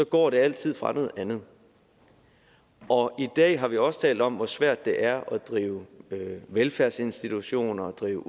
går de altid fra noget andet og i dag har vi også talt om hvor svært det er at drive velfærdsinstitutioner drive